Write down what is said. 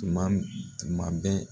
Tuma m tuma bɛ